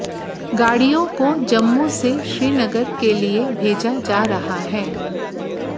गाडिय़ों को जम्मू से श्रीनगर के लिए भेजा जा रहा है